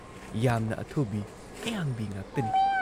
ꯌꯥꯝꯅ ꯑꯊꯨꯕꯤ, ꯑꯌꯥꯡꯕꯤ ꯉꯥꯛꯇꯅꯤ ꯫